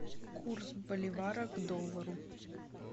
курс боливара к доллару